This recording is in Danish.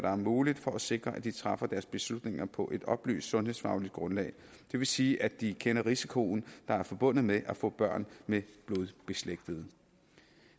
er muligt for at sikre at de træffer deres beslutning på et oplyst sundhedsfagligt grundlag det vil sige at de kender den risiko der er forbundet med at få børn med blodsbeslægtede